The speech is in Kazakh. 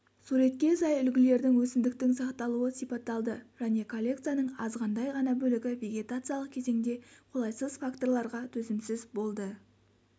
суретке сай үлгілердің өсімдіктің сақталуы сипатталды және коллекцияның азғандай ғана бөлігі вегетациялық кезеңде қолайсыз факторларға төзімсіз болды